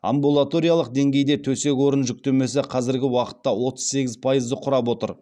амбулаториялық деңгейде төсек орын жүктемесі қазіргі уақытта отыз сегіз пайызды құрап отыр